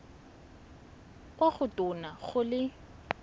kwa go tona go le